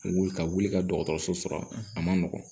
Wuli ka wuli ka dɔgɔtɔrɔso sɔrɔ a man nɔgɔn